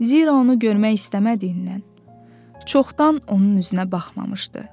Zira onu görmək istəmədiyindən çoxdan onun üzünə baxmamışdı.